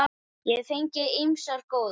Ég hef fengið ýmsar góðar.